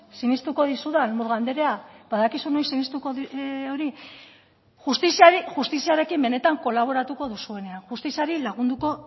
sinistuko dizudan murga anderea badakizu noiz sinistuko dizudan justiziarekin benetan kolaboratuko duzuenean justiziari lagunduko